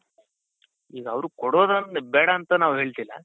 ಈಗ ಅವರ್ಗೆ ಕೊಡೋದ್ ಬೇಡ ಅಂತ ನಾವ್ ಹೇಳ್ತಿಲ್ಲ